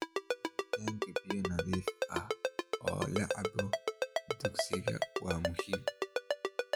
Helitaanka biyo nadiif ah oo la cabbo dugsiyada waa muhiim.